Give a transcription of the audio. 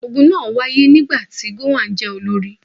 Ogun náà wáyé nígbà tí gowon jẹ́ olórí.